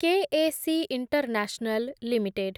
K A C international limited